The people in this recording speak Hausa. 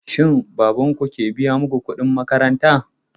Shin baban ku ke biya muku kuɗin makaranta?